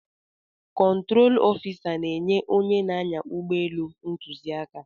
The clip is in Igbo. Kọntrol ofisa na-enye onye na-anya ụgbọelu ntụziaka.